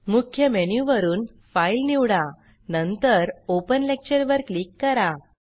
मुख्य मेनु वरुन फाइल निवडा नंतर ओपन लेक्चर वर क्लिक करा